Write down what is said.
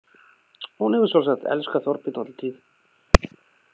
Hún hefur sjálfsagt elskað Þorbjörn alla tíð.